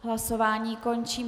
Hlasování končím.